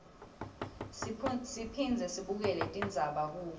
siphindze sibukele tindzaba kubo